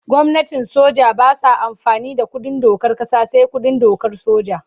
Gwamnatin soja ba sa amfani da kundin dokar ƙasa sai kundin dokar soja.